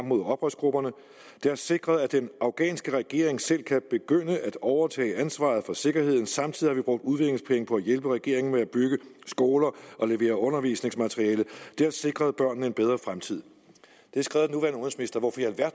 mod oprørsgrupperne det har sikret at den afghanske regering selv kan begynde at overtage ansvaret for sikkerheden samtidig har vi brugt udviklingspenge på at hjælpe regeringen med at bygge skoler og levere undervisningsmateriale det har sikret børnene en bedre fremtid det er skrevet